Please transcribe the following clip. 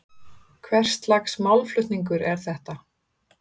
Hvers lags málflutningur er þetta?